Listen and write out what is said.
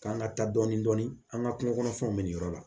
K'an ka taa dɔɔnin dɔɔnin an ka kungo kɔnɔfɛnw bɛ nin yɔrɔ la